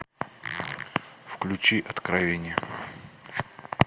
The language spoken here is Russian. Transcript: включи откровение